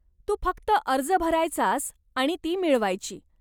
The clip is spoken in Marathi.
तू फक्त अर्ज भरायचास आणि ती मिळवायची.